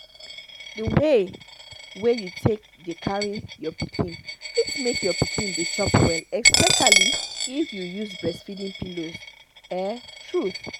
the way wey you take dey carry your pikin fit make your pikin dey chop well especially if you use breastfeeding pillows ah truth